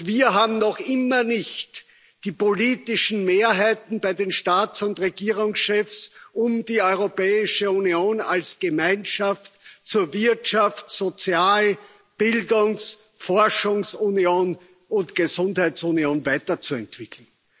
Wir haben noch immer nicht die politischen Mehrheiten bei den Staats und Regierungschefs, um die Europäische Union als Gemeinschaft zur Wirtschafts Sozial Bildungs Forschungs und Gesundheitsunion weiterzuentwickeln.